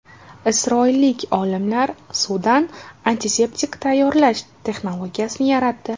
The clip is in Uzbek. Isroillik olimlar suvdan antiseptik tayyorlash texnologiyasini yaratdi.